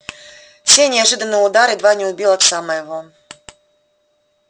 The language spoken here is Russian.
сей неожиданный удар едва не убил отца моего